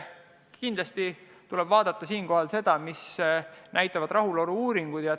Kindlasti tuleb siinkohal vaadata, mida näitavad rahulolu-uuringud.